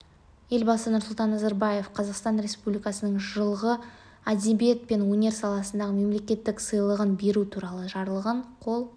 елбасы нұрсұлтан назарбаев қазақстан республикасының жылғы әдебиет пен өнер саласындағы мемлекеттік сыйлығын беру туралы жарлығына қол